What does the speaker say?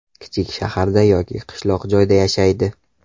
Kichik shaharda yoki qishloq joyda yashaydi.